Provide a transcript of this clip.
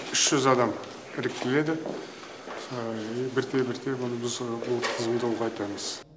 үш жүз адам іріктеледі бірте бірте бұны біз ол тізімді ұлғайтамыз